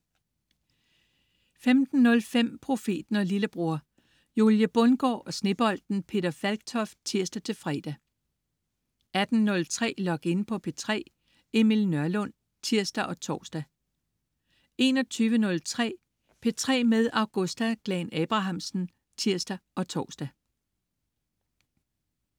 15.05 Profeten og lillebror. Julie Bundgaard og Snebolden Peter Falktoft (tirs-fre) 18.03 Log In på P3. Emil Nørlund (tirs og tors) 21.03 P3 med Augusta Glahn-Abrahamsen (tirs og tors)